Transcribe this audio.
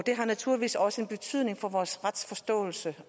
har naturligvis også betydning for vores retsforståelse